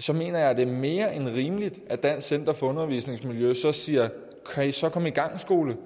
så mener jeg det er mere end rimeligt at dansk center for undervisningsmiljø siger kan i så komme i gang skole